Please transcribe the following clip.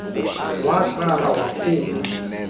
watsala idrawer wakhupha